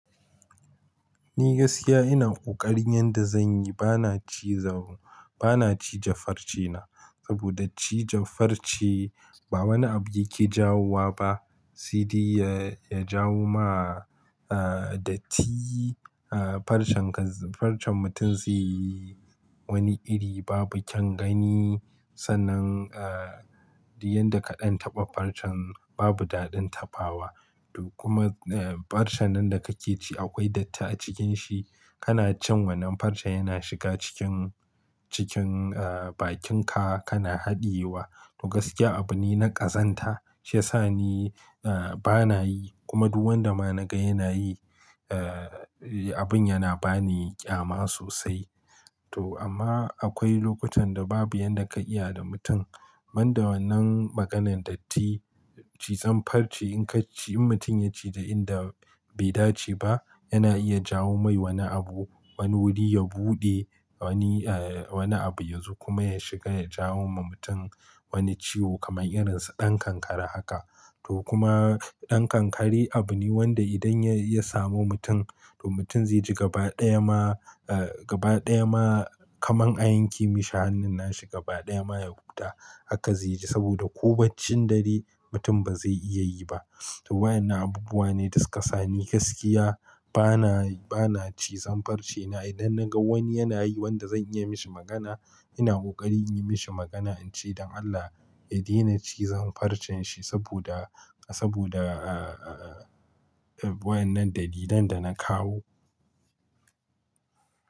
Ni gaskiya ina ƙoƙarin yadda zan yi, bana ciza, bana cije farce na. Saboda cije farce ba wani abu yake jawowa ba. Sede ya, ya jawo ma, ah, datti, ah, farcen ka, farcen mutum zai yi wani iri babu kyan gani. Sannan, ah!, duk yadda kaɗan taɓa farcen babu daɗin taɓawa. To kuma, eh, farcen nan da kake ci akwai datti a cikin shi. Kana cin wannan farce yana shiga cikin, cikin, eh, bakinka kana haɗiyewa. To gaskiya abu ne na ƙazanta shiyasa ni, eh, bana yi. Kuma duk wanda ma na ga yana yi, eh, abun yana bani ƙyama sosai. To amma akwai lokutan da babu yadda ka iya da mutum. Ban da wannan maganan datti, cizon farce in ka ci, in mutum ya ci ja inda bai dace ba, yana iya jawo mai wani abu. Wani wuri ya buɗe, wani, eh, wani abu yazo kuma ya shiga ya jawo ma mutum wani ciwo kamar irin su ɗan kankare haka. To kuma ɗan kankare abu ne wanda idan ya ya samu mutum, to mutum zai ji gaba ɗaya ma, eh, gaba ɗaya ma kaman a yanke mishi hannun nashi gaba ɗaya ma ya huta. Haka zai ji saboda ko baccin dare mutum ba zai iya yi ba. To wayannan abubuwa ne da sukasa ni gaskiya bana, bana cizan farce na. Idan na ga wani yana yi wanda zan iya mishi magana, ina ƙoƙari in yi mishi magana in ce don Allah ya daina cizon farcen shi saboda, saboda, ah, wayannan dalilan da na kawo.